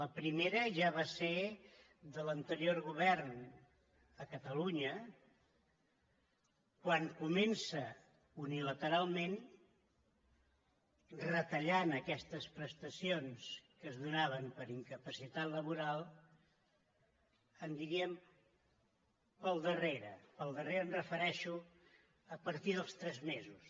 la primera ja va ser de l’anterior govern a catalunya quan comença unilateralment retallant aquestes prestacions que es donaven per incapacitat laboral diríem pel darrere amb pel darrere em refereixo a partir dels tres mesos